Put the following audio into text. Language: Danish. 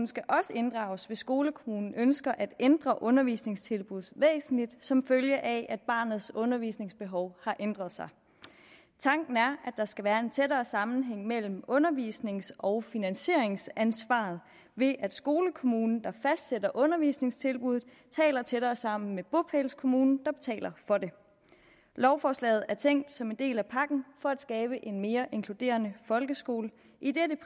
skal også inddrages hvis skolekommunen ønsker at ændre undervisningstilbuddet væsentligt som følge af at barnets undervisningsbehov har ændret sig tanken er at der skal være en tættere sammenhæng mellem undervisnings og finansieringsansvaret ved at skolekommunen der fastsætter undervisningstilbuddet taler tættere sammen med bopælskommunen der betaler for det lovforslaget er tænkt som en del af pakken for at skabe en mere inkluderende folkeskole idet